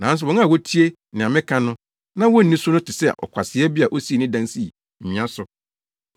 Nanso wɔn a wotie nea meka na wonni so no te sɛ ɔkwasea bi a osii ne dan sii nwea so.